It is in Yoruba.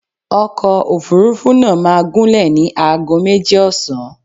Ọkọ̀ Òfurufú náà máa gúnlẹ̀ ní ago méjì ọ̀sán.